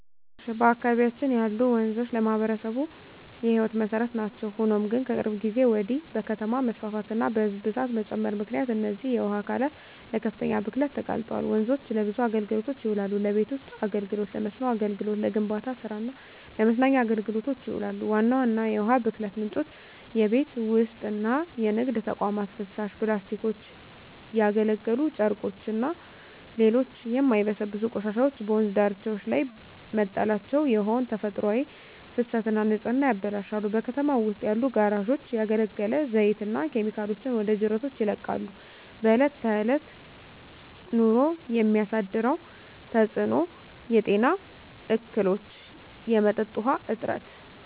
በአካባቢያችን ያሉ ወንዞች ለማኅበረሰቡ የሕይወት መሠረት ናቸው። ሆኖም ግን፣ ከቅርብ ጊዜ ወዲህ በከተማ መስፋፋትና በሕዝብ ብዛት መጨመር ምክንያት እነዚህ የውሃ አካላት ለከፍተኛ ብክለት ተጋልጠዋል። ወንዞች ለብዙ አገልግሎቶች ይውላሉ። ለቤት ውስጥ አገልግሎ፣ ለመስኖ አገልግሎት፣ ለግንባታ ስራ እና ለመዝናኛ አገልግሎቶች ይውላሉ። ዋና ዋና የውሃ ብክለት ምንጮች:- የቤት ውስጥና የንግድ ተቋማት ፍሳሽ፣ ፕላስቲኮች፣ ያገለገሉ ጨርቆችና ሌሎች የማይበሰብሱ ቆሻሻዎች በወንዝ ዳርቻዎች ላይ መጣላቸው የውሃውን ተፈጥሯዊ ፍሰትና ንጽህና ያበላሻሉ። በከተማው ውስጥ ያሉ ጋራዦች ያገለገለ ዘይትና ኬሚካሎችን ወደ ጅረቶች ይለቃሉ። በእለት በእለት ኑሮ የሚያሳድረው ተጽኖ:- የጤና እክሎች፣ የመጠጥ ውሀ እጥረት…